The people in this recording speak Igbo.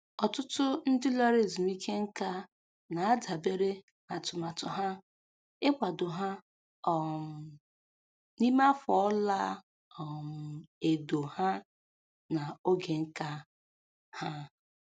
Ọtụtụ ndị lara ezumike nká na-adabere na atụmatụ ha ịkwado ha um n'ime afọ ọla um edo ha na oge nka ha